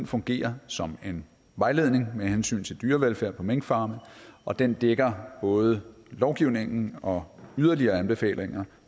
fungerer som en vejledning med hensyn til dyrevelfærd på minkfarme og den dækker både lovgivningen og yderligere anbefalinger